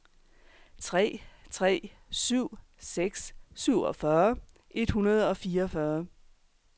tre tre syv seks syvogfyrre et hundrede og fireogfyrre